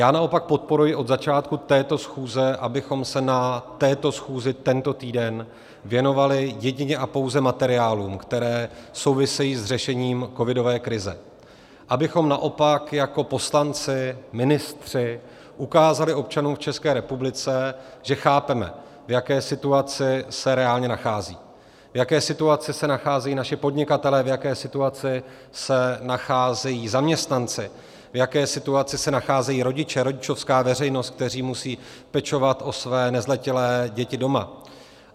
Já naopak podporuji od začátku této schůze, abychom se na této schůzi tento týden věnovali jedině a pouze materiálům, které souvisejí s řešením covidové krize, abychom naopak jako poslanci, ministři ukázali občanům v České republice, že chápeme, v jaké situaci se reálně nacházejí, v jaké situaci se nacházejí naši podnikatelé, v jaké situaci se nacházejí zaměstnanci, v jaké situaci se nacházejí rodiče, rodičovská veřejnost, kteří musí pečovat o své nezletilé děti doma.